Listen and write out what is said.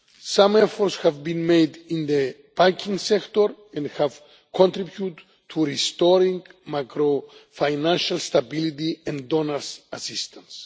Some efforts have been made in the banking sector and have contributed to restoring macro-financial stability and donors' assistance.